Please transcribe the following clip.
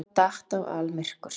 Þá datt á almyrkur.